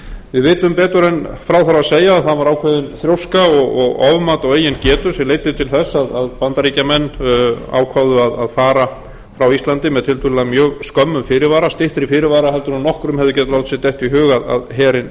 við vitum betur en frá þurfi að segja að það var ákveðin þrjóska og ofmat á eigin getu sem leiddi til þess að bandaríkjamenn ákváðu að fara frá íslandi með tiltölulega mjög skömmum fyrirvara styttri fyrirvara heldur en nokkrum hefði getað látið sér detta